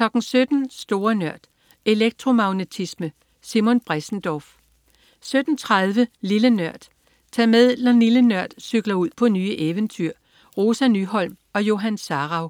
17.00 Store Nørd. Elektromagnetisme. Simon Bressendorf 17.30 Lille Nørd. Tag med, når "Lille Nørd" cykler ud på nye eventyr. Rosa Nyholm og Johan Sarauw